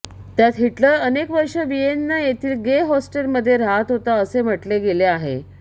त्यात हिटलर अनेक वर्षे विएन्ना येथील गे होस्टेल मध्ये राहत होता असे म्हटले गेले आहे